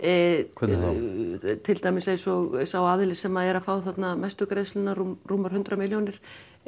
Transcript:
hvernig þá til dæmis eins og sá aðili sem er að fá þarna mestu greiðslurnar rúmar hundrað milljónir